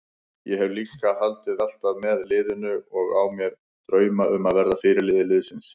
Ég hef alltaf haldið með liðinu og á mér drauma um að verða fyrirliði liðsins.